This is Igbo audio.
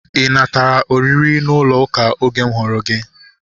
Ị natara oriri n'ụlọ ụka oge m hụrụ gị?